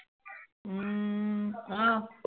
উহ আহ